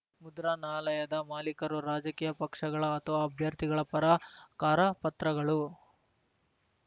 ಮುದ್ರಣಾಲಯದ ಮಾಲೀಕರು ರಾಜಕೀಯ ಪಕ್ಷಗಳ ಅಥವಾ ಅಭ್ಯರ್ಥಿಗಳ ಪರ ಕರಪತ್ರಗಳು